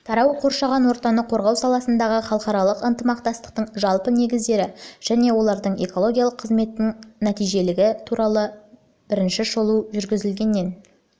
тарау қоршаған ортаны қорғау саласындағы халықаралық ынтымақтастықтың жалпы негіздері және олардың экологиялық қызметтің нәтижелілігі туралы бірінші шолу жүргізілгеннен